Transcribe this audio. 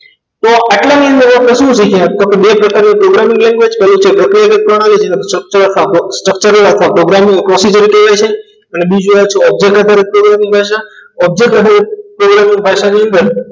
તો આટલાની અંદર એવું શું છે કે તો બે પ્રકારની programming language structure જ આખા program ની object object ભાષાની અંદર